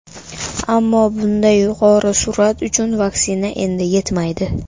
Ammo bunday yuqori sur’at uchun vaksina endi yetmaydi.